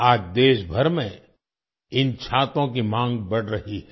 आज देशभर में इन छातों की मांग बढ़ रही हैं